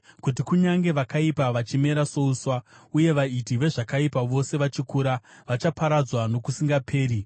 kuti kunyange vakaipa vachimera souswa, uye vaiti vezvakaipa vose vachikura, vachaparadzwa nokusingaperi.